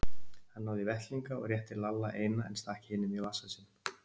Hann náði í vettlinga og rétti Lalla eina, en stakk hinum í vasa sinn.